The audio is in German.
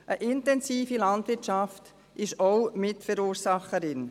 Eine intensive Landwirtschaft ist auch Mitverursacherin.